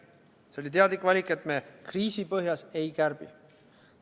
See oli teadlik valik, et me kriisi põhjas ei kärbi.